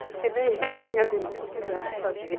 Porque nem eu, nem a Denise quiseram saber.